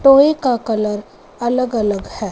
Toy का colour अलग-अलग है।